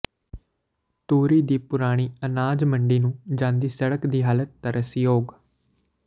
ਧੂਰੀ ਦੀ ਪੁਰਾਣੀ ਅਨਾਜ ਮੰਡੀ ਨੂੰ ਜਾਂਦੀ ਸੜਕ ਦੀ ਹਾਲਤ ਤਰਸਯੋਗ